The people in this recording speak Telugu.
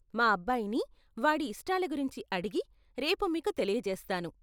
మా అబ్బాయిని వాడి ఇష్టాల గురించి అడిగి, రేపు మీకు తెలియజేస్తాను.